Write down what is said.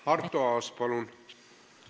Arto Aas, palun!